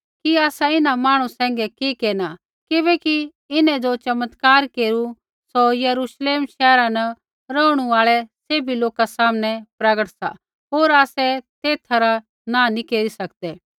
कि आसा इन्हां मांहणु सैंघै कि केरना किबैकि इन्हैं ज़ो चमत्कार केरू सौ यरूश्लेम शैहरा न रौहणु आल़ै सैभी लोका सामनै प्रगट सा होर आसै तेथा रा नाँह नी केरी सकदै